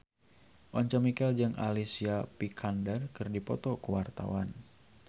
Once Mekel jeung Alicia Vikander keur dipoto ku wartawan